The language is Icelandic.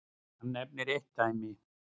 Hann nefnir eitt dæmi.